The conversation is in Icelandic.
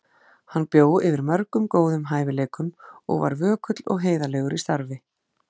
Hann bjó yfir mörgum góðum hæfileikum og var vökull og heiðarlegur í starfi.